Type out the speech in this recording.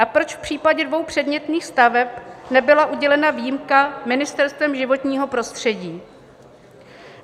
A proč v případě dvou předmětných staveb nebyla udělena výjimka Ministerstvem životního prostředí?